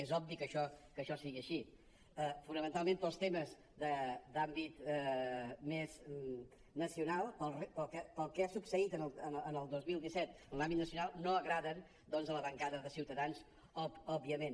és obvi que això sigui així fonamentalment pels temes d’àmbit més nacional pel que ha succeït el dos mil disset en l’àmbit nacional no agraden a la bancada de ciutadans òbviament